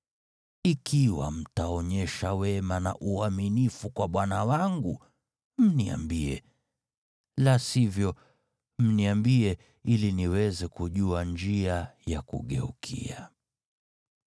Ikiwa mtaonyesha wema na uaminifu kwa bwana wangu, mniambie, la sivyo, mniambie, ili niweze kujua njia ya kugeukia.”